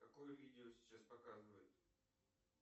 какое видео сейчас показывает